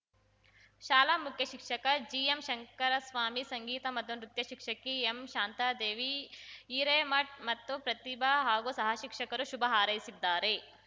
ಶಾಲಾ ಮುಖ್ಯ ಶಿಕ್ಷಕ ಜಿಎಂ ಶಂಕರಸ್ವಾಮಿ ಸಂಗಿತ ಮತ್ತು ನೃತ್ಯ ಶಿಕ್ಷಕಿ ಎಂ ಶಾಂತಾದೇವಿ ಹಿರೇಮಠ್‌ ಮತ್ತು ಪ್ರತಿಬಾ ಹಾಗೂ ಸಹಶಿಕ್ಷಕರು ಶುಭ ಹಾರೈಸಿದ್ದಾರೆ